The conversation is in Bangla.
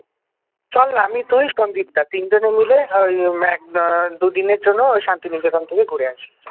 চলনা, আমি তুই সন্দীপ দা আমরা তিনজনে মিলে ওই আহ এক আহ দুদিনের জন্য শান্তিনিকেতন থেকে ঘুরে আসি